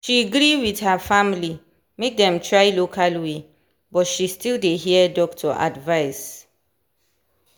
she gree with her family make them try local way but she still dey hear doctor advice.